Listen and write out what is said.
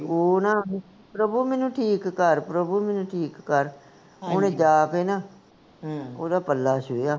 ਓਹਨਾ ਪ੍ਰਭੂ ਮੇਨੂੰ ਠੀਕ ਕਰ, ਪ੍ਰਭੂ ਮੇਨੂੰ ਠੀਕ ਕਰ, ਓਹਨੇ ਜਾ ਕੇ ਨਾ ਹਮ ਓਹਦਾ ਪੱਲਾ ਛੂਹਿਆ